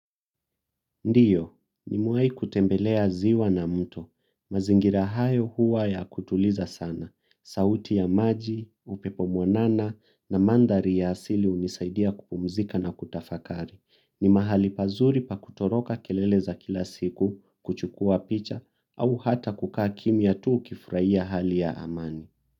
Ndiyo, nimewai kutembelea ziwa na mto. Mazingira hayo huwa ya kutuliza sana. Sauti ya maji, upepo mwanana na mandari ya asili hunisaidia kupumzika na kutafakari. Ni mahali pazuri pa kutoroka kelele za kila siku, kuchukua picha, au hata kukaa kimya tuu ukifurahia hali ya amani.